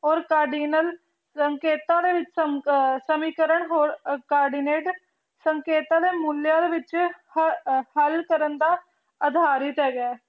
or cardinal ਸੰਕੇਤਾਂ ਦੇ ਵਿੱਚ ਸਮੀਕਰਨ ਹੋਰ ਸੰਕੇਤਾਂ ਦੇ ਮੁਲਿਆਂ ਦੇ ਵਿੱਚ ਹਲ ਕਰਨ ਦਾ ਅਧਾਰਿਤ ਹੈਗਾ